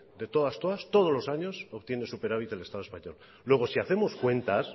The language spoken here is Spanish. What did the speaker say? de todas todas obtiene el superávit el estado español luego si hacemos cuentas